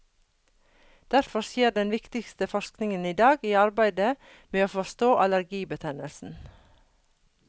Derfor skjer den viktigste forskningen i dag i arbeidet med å forstå allergibetennelsen.